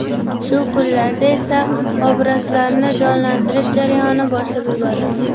Shu kunlarda esa obrazlarni jonlantirish jarayoni boshlab yuborildi.